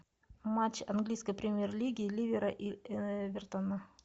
матч английской премьер лиги ливера и эвертона